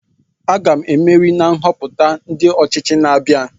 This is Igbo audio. Aga m emeri nhoputa ndi ochichi na-abia